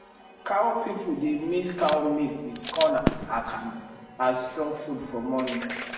cow people dey mix cow milk with corn akamu as strong food for morning